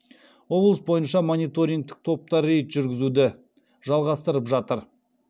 облыс бойынша мониторингтік топтар рейд жүргізуді жалғастырып жатыр